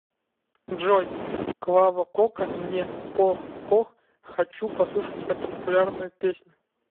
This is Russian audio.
джой клава кока мне пох пох хочу послушать эту популярную песню